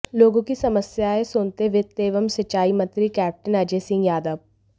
लोगों की समस्याएं सुनते वित्त एवं सिंचाई मंत्री कैप्टन अजय सिंह यादव